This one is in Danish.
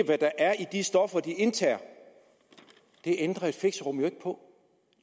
hvad der er i de stoffer de indtager det ændrer et fixerum jo ikke på